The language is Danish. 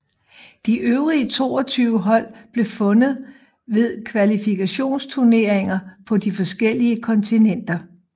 De øvrige 22 hold blev fundet ved kvalifikationsturneringer på de forskellige kontinenter